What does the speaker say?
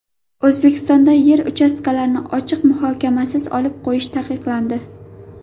O‘zbekistonda yer uchastkalarini ochiq muhokamasiz olib qo‘yish taqiqlandi.